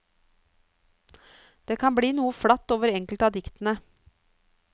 Det kan bli noe flatt over enkelte av diktene.